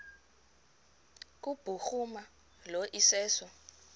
kubhuruma lo iseso